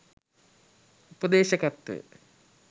උපදේශකත්වය